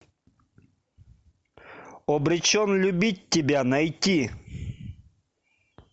обречен любить тебя найти